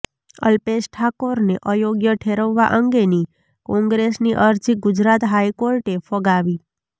અલ્પેશ ઠાકોરને અયોગ્ય ઠેરવવા અંગેની કોંગ્રેસની અરજી ગુજરાત હાઈકોર્ટે ફગાવી